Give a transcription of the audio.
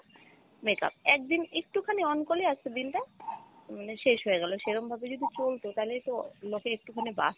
makeup, একদিন একটু খানি on করলে আজকের দিন টা মানে শেষ হয় গেলো, সেরম ভাবে যদি চলতো তালেই তো লোকে একটু খানি বাঁচতো।